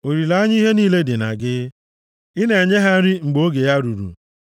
Olileanya ihe niile dị na gị, ị na-enye ha nri ha mgbe oge ya ruru.